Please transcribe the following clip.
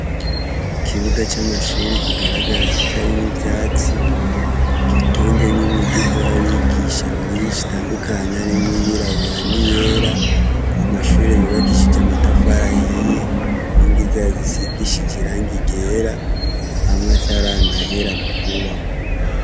Ikibuga c'amashure kigaragara kitarimwo ivyatsi gitonzemwo imiduga y'abigisha myinshi itandukanye harimwo iyirabura n'iyera, amashure yubakishije amatafari ahiye inkingi zayo zisigishije irangi ryera amwe ataranahera mu kwubakwa.